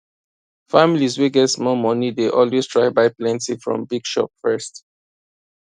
families wey get small money dey always try buy plenty from big shop first